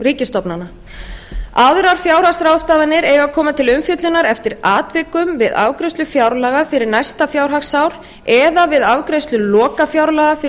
ríkisstofnana aðrar fjárhagsráðstafanir eiga að koma til umfjöllunar eftir atvikum við afgreiðslu fjárlaga fyrir næsta fjárhagsár eða viða afgreiðslu lokafjárlaga fyrir